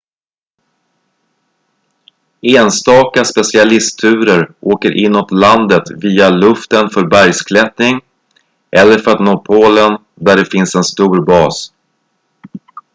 enstaka specialistturer åker inåt landet via luften för bergsklättring eller för att nå polen där det finns en stor bas